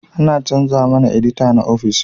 An chanza mana edita a ofis